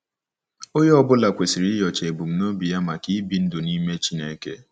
Onye ọ bụla kwesịrị inyocha ebumnobi nke ya maka ibi ndụ n’ime Chineke.